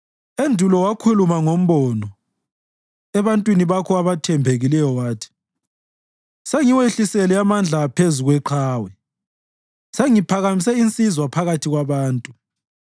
Endulo wakhuluma ngombono, ebantwini bakho abathembekileyo wathi: “Sengiwehlisele amandla phezu kweqhawe; sengiphakamise insizwa phakathi kwabantu.